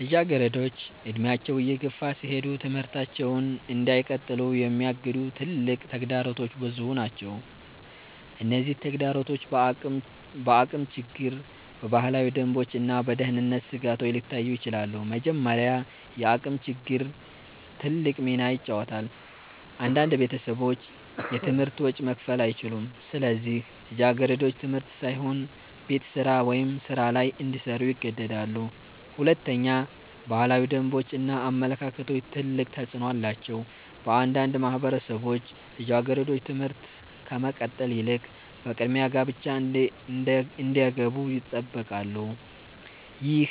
ልጃገረዶች እድሜያቸው እየገፋ ሲሄድ ትምህርታቸውን እንዳይቀጥሉ የሚያግዱ ትልቅ ተግዳሮቶች ብዙ ናቸው። እነዚህ ተግዳሮቶች በአቅም ችግር፣ በባህላዊ ደንቦች እና በደህንነት ስጋቶች ሊታዩ ይችላሉ። መጀመሪያ፣ የአቅም ችግር ትልቅ ሚና ይጫወታል። አንዳንድ ቤተሰቦች የትምህርት ወጪ መክፈል አይችሉም፣ ስለዚህ ልጃገረዶች ትምህርት ሳይሆን ቤት ስራ ወይም ሥራ ላይ እንዲሰሩ ይገደዳሉ። ሁለተኛ፣ ባህላዊ ደንቦች እና አመለካከቶች ትልቅ ተፅዕኖ አላቸው። በአንዳንድ ማህበረሰቦች ልጃገረዶች ትምህርት ከመቀጠል ይልቅ በቅድሚያ ጋብቻ እንዲገቡ ይጠበቃሉ። ይህ